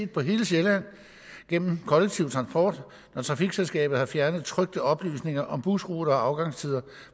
på hele sjælland gennem kollektiv transport når trafikselskabet har fjernet trykte oplysninger om busruter og afgangstider